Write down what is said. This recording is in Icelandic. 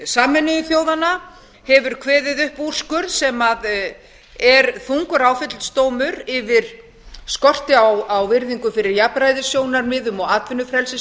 sameinuðu þjóðanna hefur kveðið upp úrskurð sem er þungur áfellisdómur yfir skorti á virðingu fyrir jafnræðissjónarmiðum